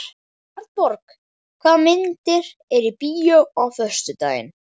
Arnborg, hvaða myndir eru í bíó á föstudaginn?